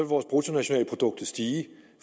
vores bruttonationalprodukt stige